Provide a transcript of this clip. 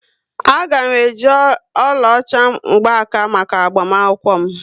Aga m eji oluocha mgkwaka maka agbamakwukwo m